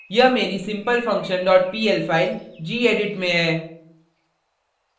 यहाँ मेरी simplefunction dot pl file gedit में है